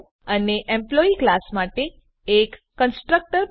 અને employee class માટે એક કન્સ્ટ્રક્ટર બનાવો